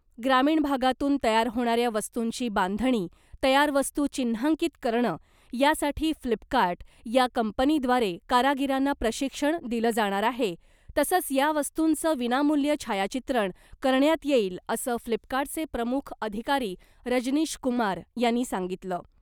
ग्रामीण भागातून तयार होणाऱ्या वस्तुंची बांधणी , तयार वस्तू चिन्हांकीत करणं यासाठी फ्लिपकार्ट या कंपनीद्वारे कारागिरांना प्रशिक्षण दिलं जाणार आहे , तसंच या वस्तुंचं विनामूल्य छायाचित्रण करण्यात येईल , असं फ्लिपकार्टचे प्रमुख अधिकारी रजनीश कुमार यांनी सांगितलं .